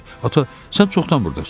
Ata, sən çoxdan burdasan?